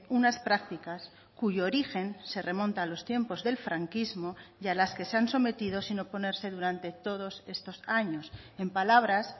unas prácticas cuyo origen se remonta a los tiempos del franquismo y a las que se han sometido sin oponerse durante todos estos años en palabras